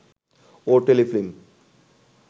ও Telefilm